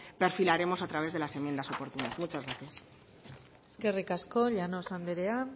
perfilaremos a través de las enmiendas oportunas muchas gracias eskerrik asko llanos anderea